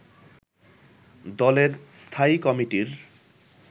দলের স্থায়ী কমিটির